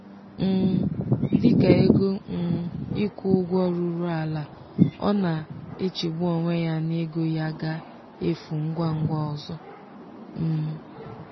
um dịka ego um ịkwụ ụgwọ ruru ala ọ na-echegbu onwe ya na ego ya ga-efu ngwa ngwa ọzọ. um